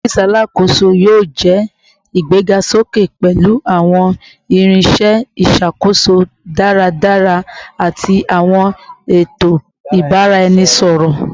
Ọfiisi Alakoso yoo jẹ igbegasoke pẹlu awọn irinṣẹ iṣakoso daradara ati awọn eto ibaraẹnisọrọ